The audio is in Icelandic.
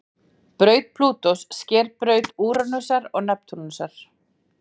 braut plútós sker braut úranusar og neptúnusar